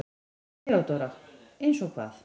THEODÓRA: Eins og hvað?